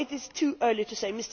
It is too early to say.